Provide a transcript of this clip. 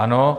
Ano.